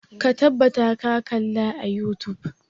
Ka tabbata ka kalla a youtube!